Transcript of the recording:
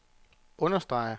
understreger